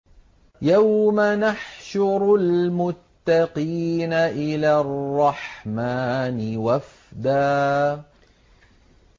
يَوْمَ نَحْشُرُ الْمُتَّقِينَ إِلَى الرَّحْمَٰنِ وَفْدًا